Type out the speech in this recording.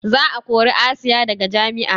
Za a kori asiya daga jami'a